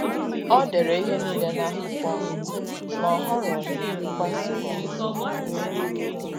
Ọ dere ihe niile n’akwụkwọ, ma o họrọghị ịgbaso ụzọ iwu